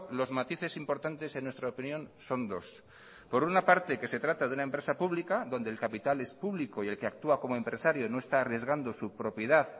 los matices importantes en nuestra opinión son dos por una parte que se trata de una empresa pública donde el capital es público y el que actúa como empresario no está arriesgando su propiedad